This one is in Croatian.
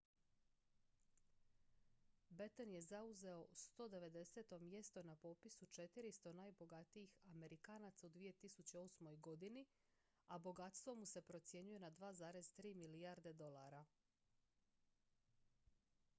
batten je zauzeo 190. mjesto na popisu 400 najbogatijih amerikanaca u 2008. godini a bogatstvo mu se procjenjuje na 2,3 milijarde dolara